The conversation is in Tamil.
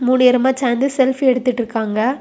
மூணு பேருமா சேந்து செல்ஃபி எடுத்துட்டுருக்காங்க.